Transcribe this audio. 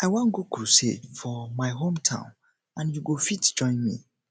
i wan go crusade for my hometown and you go fit join me